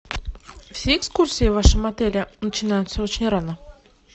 все экскурсии в вашем отеле начинаются очень рано